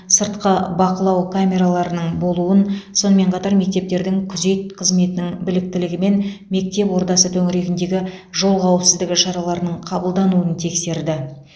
сыртқы бақылау камераларының болуын сонымен қатар мектептердің күзет қызметінің біліктілігі мен білім ордасы төңірегіндегі жол қауіпсіздігі шараларының қабылдануын тексерді